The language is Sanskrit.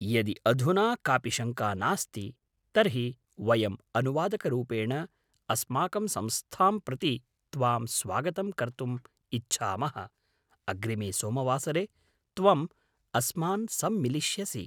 अतः, यदि अधुना कापि शङ्का नास्ति, तर्हि वयम् अनुवादकरूपेण अस्माकं संस्थां प्रति त्वां स्वागतं कर्तुम् इच्छामः, अग्रिमे सोमवासरे त्वं अस्मान् सम्मिलिष्यसि।